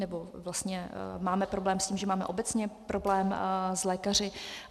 nebo vlastně máme problém s tím, že máme obecně problém s lékaři.